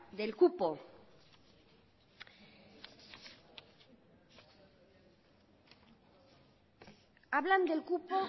del cupo hablan del cupo